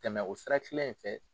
Tɛmɛ o sira kile in fɛ.